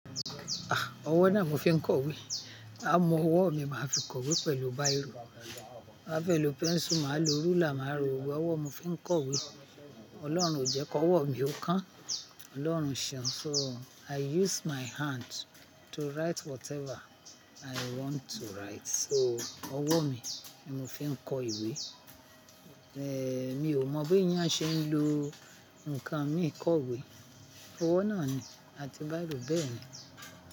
Ah! Ọwọ́ náà mo fi n kọ ìwé. Á mu ọwọ́ mi má fi kọ ìwé pẹ̀lú báìrò, má fẹ lo pẹ́nsù, mà á lo rúlà, mà á ro ọwọ́, ọwọ́ mo fi n kọ ìwé. Ọlọ́run o jẹ k'ọwọ́ mi ó kán. Ọlọ́run ṣeun. So i use my hand to write whatever i want to write. So ọwọ́ mi ni mo fi n kọ ìwé. Eh mi ò mọ bí èèyàn ṣe ń lo ǹkan míì kọ'wé. Ọwọ́ náà ni àti báìrò bẹ́ẹ̀ ni.